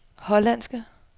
hollandske